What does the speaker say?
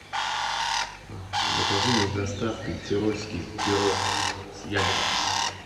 закажи мне с доставкой тирольский пирог с ягодами